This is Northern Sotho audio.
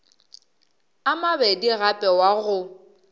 a mabedi gape wa go